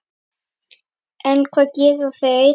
En hvað gera þeir?